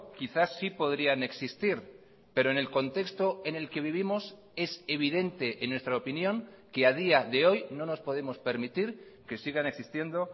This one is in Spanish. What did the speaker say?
quizás sí podrían existir pero en el contexto en el que vivimos es evidente en nuestra opinión que a día de hoy no nos podemos permitir que sigan existiendo